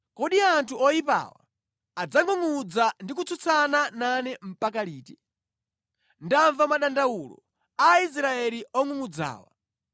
“Kodi anthu oyipawa adzangʼungʼudza ndi kutsutsana nane mpaka liti? Ndamva madandawulo a Aisraeli ongʼungʼudzawa.